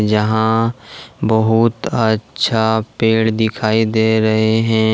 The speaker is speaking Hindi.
यहाँ बहुत अच्छा पेड़ दिखाई दे रहे हैं।